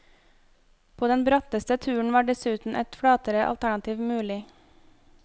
På den bratteste turen var dessuten et flatere alternativ mulig.